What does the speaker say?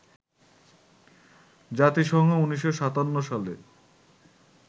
জাতিসংঘ ১৯৫৭ সালে